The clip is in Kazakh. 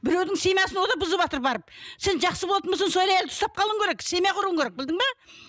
біреудің семьясын ол да бұзыватыр барып сен жақсы болатын болсаң сол әйелді ұстап қалуың керек семья құруың керек білдің бе